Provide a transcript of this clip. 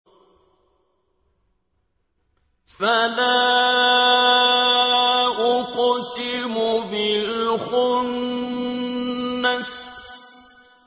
فَلَا أُقْسِمُ بِالْخُنَّسِ